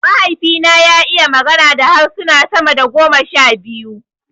Mahaifi na ya iya magana da harsuna sama da goma sha biyu